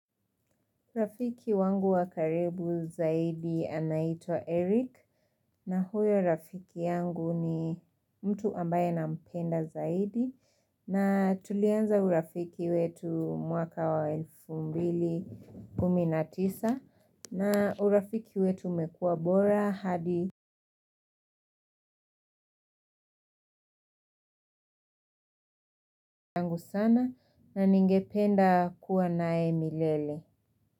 Rafiki wangu wa karibu zaidi anaitwa Eric na huyo rafiki yangu ni mtu ambaye nampenda zaidi na tulianza urafiki wetu mwaka wa elfu mbili kumi na tisa na urafiki wetu umekuwa bora hadi yangu sana na ningependa kuwa naye milele.